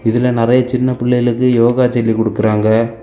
இதுல நெறைய சின்ன பிள்ளைகளுக்கு யோகா சொல்லி குடுக்கறாங்க.